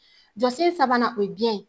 Jɔsen sabanan o ye biyɛn.